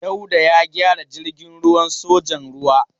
Dauda ya gyara jirgin ruwan sojan ruwa.